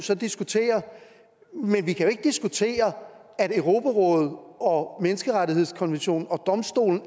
så diskutere men vi kan jo ikke diskutere at europarådet og menneskerettighedskonventionen og domstolen